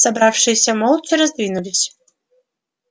собравшиеся молча раздвинулись